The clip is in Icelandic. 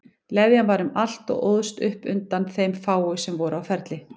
Leðjan var um allt og óðst upp undan þeim fáu sem voru á ferli.